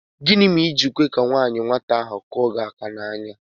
Gịnị mèrè i ji kwé ka nwata nwaanyị ahụ kụọ gị áká n'anya?